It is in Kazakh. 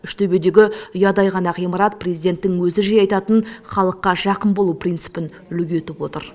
үштөбедегі ұядай ғана ғимарат президенттің өзі жиі айтатын халыққа жақын болу принципін үлгі етіп отыр